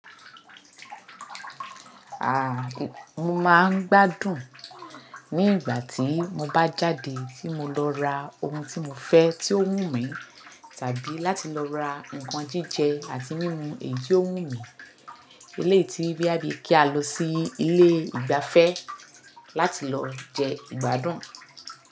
Aà! Mo máa ń gbádùn ní ìgbà tí mo bá jáde tí mo lọ ra ohun tí mo fẹ́ tí ó wù mí tàbí láti lọ ra nǹkan jíjẹ àti mímu èyí ó wù mí. Eléyi boya bí kí a lọ sí ilé ìgbafẹ́ láti lọ jẹ ìgbádùn.